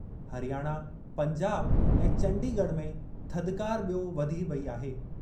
हरियाणा, पंजाब ऐं चंडीगढ़ में थधिकार बि॒यो वधी वेई आहे।